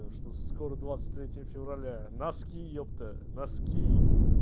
что скоро двадцать третье февраля носки епта носки